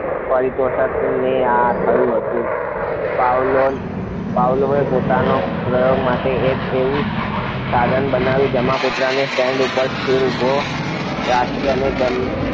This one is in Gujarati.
પારિતોશની આ થયું હતું પાવલોન પાવલોયે પોતાનો પ્રયોગ માટે એક એવું સાધન બનાવ્યું જેમાં કૂતરાને સ્ટેન્ડ ઉપર ઉભો રાખી અને તેમને